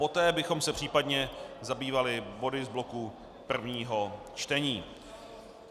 Poté bychom se případně zabývali body z bloku prvního čtení.